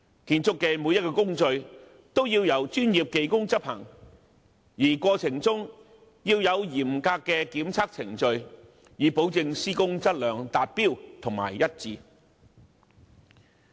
每一個建築工序都要由專業技工執行，而過程中亦要有嚴格的檢測程序，以保證施工質量達標和一致。